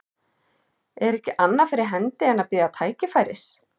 Er ekki annað fyrir hendi en að bíða tækifæris.